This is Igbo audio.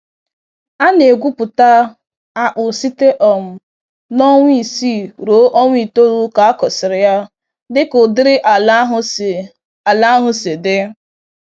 A na egwupụta akpụ site um n'ọnwa isii ruo ọnwa itoolu ka akụsịrị ya, dịka ụdịrị ala ahụ si ala ahụ si dị.